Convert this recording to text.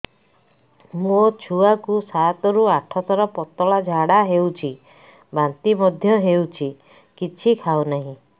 ମୋ ଛୁଆ କୁ ସାତ ରୁ ଆଠ ଥର ପତଳା ଝାଡା ହେଉଛି ବାନ୍ତି ମଧ୍ୟ୍ୟ ହେଉଛି କିଛି ଖାଉ ନାହିଁ